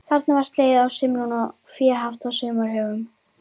Þarna var slegið á sumrin og fé haft í sumarhögum.